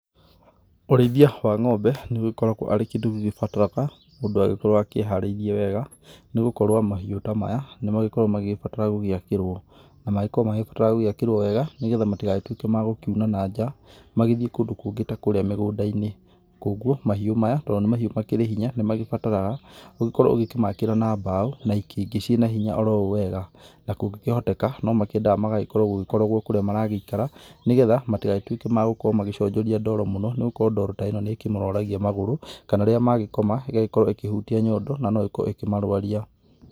Ũrĩithia wa ngombe nĩ ũgĩkoragwo arĩ kĩndũ gĩgĩbataraga mũndũ agĩkorwo akĩharaĩrie wega nĩ gũkorwo mahiũ ta maya nĩ magĩkoragwo magĩgĩbatara gũgĩakĩrwo wega nĩgetha matigagĩtuĩke magũkĩuna na nja magĩthiĩ kũndũ kũngĩ ta kũríĩ mũgũnda-inĩ, kogũo mahiũ maya tondũ nĩ mahiũ makĩrĩ hinya nĩ magĩbataraga ũgĩkorwo ũgĩkĩmakĩra na mbao na itingĩ ciĩna hinya oro ũũ wega ,na kũngĩhotekeka no mekĩendaga magagĩkwo gũgĩkorogwo kũrĩa maragĩikara nĩgetha matigagĩtũĩke magũkorwo magĩconjoria ndoro mũno nĩ gũkorwo ndoro ta ĩno nĩ ĩkĩmĩrwaragia magũrũ, kana rĩrĩa magĩkoma ĩgagĩkorwo ĩkĩhutia nyondo, na no ĩkorwo ĩkĩmarũaria.